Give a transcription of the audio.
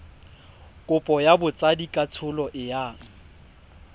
kopo ya botsadikatsholo e yang